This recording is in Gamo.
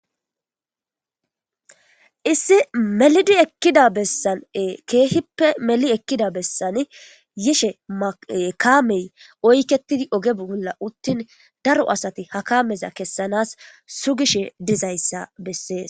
Issi melidi ekkida bessane keehippe meli ekkida bessan yishe mae-kaamey oyketidi oge bugola uttin daro asati ha kameza kessanas su gishe dizayssa bessees.